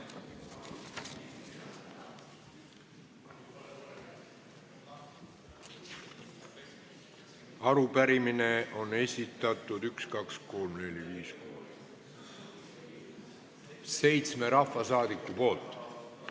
Arupärimise on esitanud seitse rahvasaadikut.